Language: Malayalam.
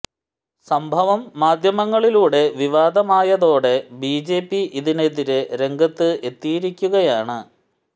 സംഭവം മാദ്ധ്യമങ്ങളിലൂടെ വിവാദമായതോടെ ബി ജെ പി ഇതിനെതിരെ രംഗത്ത് എത്തിയിരിക്കുകയാണ്